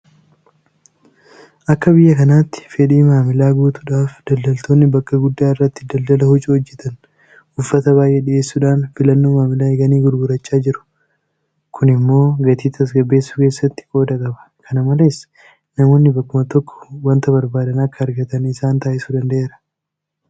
Akka biyya kanaatti fedhii maamilaa guutuudhaaf daldaltoonni bakka guddaa irratti daldala huccuu hojjetan uffata baay'ee dhiyeessuudhaan filannoo maamilaa eeganii gurgurachaa jiru. Kum immoo gatii tasgabbeessuu keessattis qooda qaba. Kana malees namoonni bakkuma tokkoo waanta barbaadan akka argatan isaan taasisuu danda'eera.